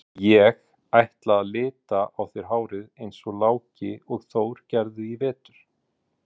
Ég ætla að lita á þér hárið eins og Láki og Þór gerðu í vetur.